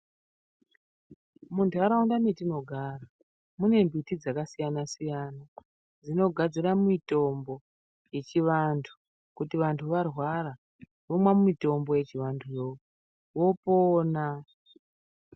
Mundaraunda metinogara mune mbiti dzakasiyana siyana dzinogadzira mitombo yechivantu kuti kana vantu varwara vomwa mitombo yechivantuyo vopona.